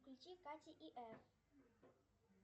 включи катя и эф